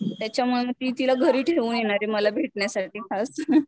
त्याच्यामुळे म ती तिला घरी ठेऊन येणारे मला भेटण्यासाठी खास